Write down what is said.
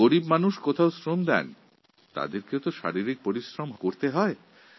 দরিদ্র শ্রেণির মানুষ যখন কাজ করে তখন তার কায়িক পরিশ্রম হয়